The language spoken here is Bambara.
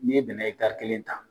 N'i ye bɛnɛ ɛtari kelen ta